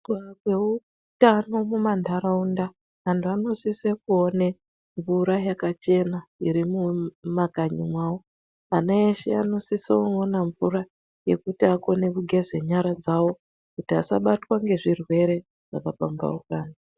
Kurapawo kweutano mumamharaunda antu anosisa kuone mvurayakachena iri mumakanyimawo. Ana eshe anosisa kuona mvura yekuita vakone kugeza nyara dzavo kuti asabatwa nezvirwere zvakapambamhauka